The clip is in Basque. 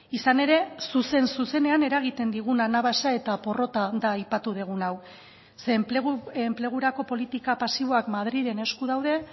izan ere zuzen zuzenean eragiten digun anabasa eta porrota da aipatu dugun hau ze enplegurako politika pasiboak madrilen esku daude